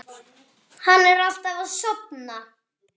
Hann er alltaf að sofna.